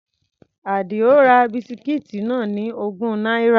Àdìó ra bisikíìtì náà ní ogún náírà.